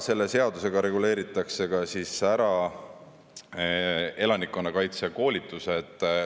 Selle seadusega reguleeritakse ka ära elanikkonnakaitse koolitused.